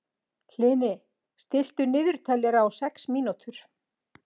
Hlini, stilltu niðurteljara á sex mínútur.